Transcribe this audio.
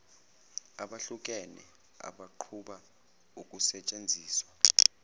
abahlukene abaqhuba ukusentsenziswa